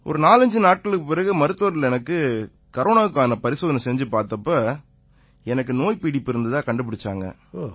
ஒரு 45 நாட்களுக்குப் பிறகு மருத்துவர்கள் எனக்கு கரோனாவுக்கான பரிசோதனை செஞ்சு பார்த்தப்ப எனக்கு நோய் பீடிப்பு இருந்ததா கண்டுபிடிச்சாங்க